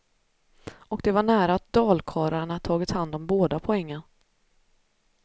Och det var nära att dalkarlarna tagit hand om båda poängen.